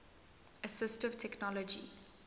assistive technology